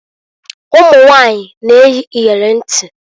Ụmunwanyị na - eyi iyeli ntị.